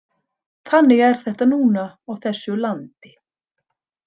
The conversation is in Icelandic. Þannig er þetta núna á þessu landi.